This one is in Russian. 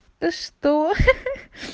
да что ха-ха